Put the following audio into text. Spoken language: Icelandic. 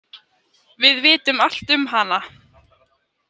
Við vitum allt um hana.